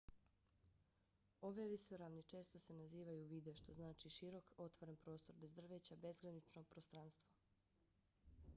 ove visoravni često se nazivaju vidde što znači širok otvoren prostor bez drveća bezgranično prostranstvo